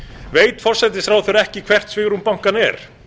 veit forsætisráðherra ekki hvert svigrúm bankanna er